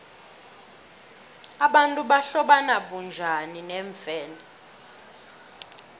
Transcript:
abantu bahlobana bunjani neemfene